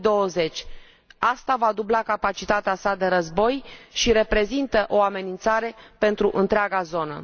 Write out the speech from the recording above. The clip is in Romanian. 2020. Aceasta va dubla capacitatea sa de război și reprezintă o amenințare pentru întreaga zonă.